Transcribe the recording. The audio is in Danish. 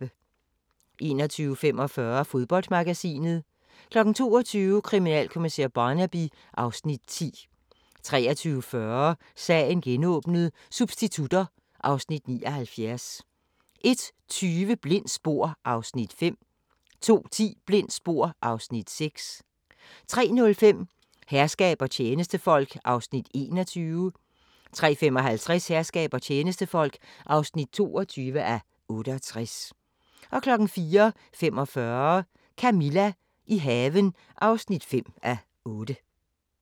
21:45: Fodboldmagasinet 22:00: Kriminalkommissær Barnaby (Afs. 10) 23:40: Sagen genåbnet: Substitutter (Afs. 79) 01:20: Blindt spor (Afs. 5) 02:10: Blindt spor (Afs. 6) 03:05: Herskab og tjenestefolk (21:68) 03:55: Herskab og tjenestefolk (22:68) 04:45: Camilla – i haven (5:8)